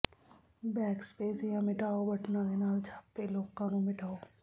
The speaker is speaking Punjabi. ਬੈਕਸਪੇਸ ਜਾਂ ਮਿਟਾਓ ਬਟਨਾਂ ਦੇ ਨਾਲ ਛਾਪੇ ਲੋਕਾਂ ਨੂੰ ਮਿਟਾਓ